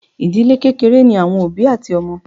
Ìdílé kékeré ní àwọn òbí àti ọmọ.